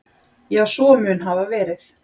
Já, svo mun hafa verið.